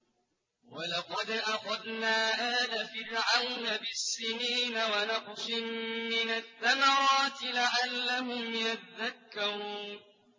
وَلَقَدْ أَخَذْنَا آلَ فِرْعَوْنَ بِالسِّنِينَ وَنَقْصٍ مِّنَ الثَّمَرَاتِ لَعَلَّهُمْ يَذَّكَّرُونَ